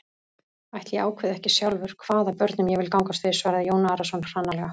Ætli ég ákveði ekki sjálfur hvaða börnum ég vil gangast við, svaraði Jón Arason hranalega.